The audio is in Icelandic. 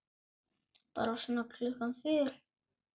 Bara svona klukkan fjögur.